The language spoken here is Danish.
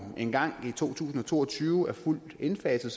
engang i to tusind og to og tyve er fuldt indfaset